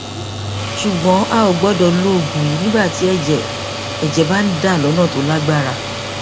ṣùgbọn a kò gbọdọ lo oògùn yìí nígbà tí ẹjẹ ẹjẹ bá ń dà lọnà tó lágbára